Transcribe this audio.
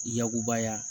Yakubaya